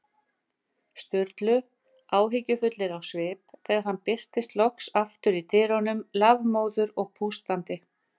Sturlu, áhyggjufullir á svip, þegar hann birtist loks aftur í dyrunum, lafmóður og pústandi.